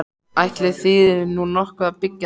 Ætli þýði nú nokkuð að byggja þarna?